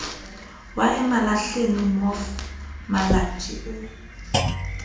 wa emalahleni mof malatjie o